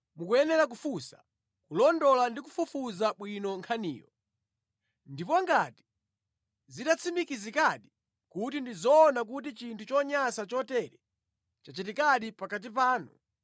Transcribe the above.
mukuyenera kufunsa, kulondola ndi kufufuza bwino nkhaniyo. Ndipo ngati zitatsimikizikadi kuti ndi zoona kuti chinthu chonyansa chotere chachitikadi pakati panu,